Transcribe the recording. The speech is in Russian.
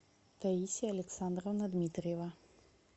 таисия александровна дмитриева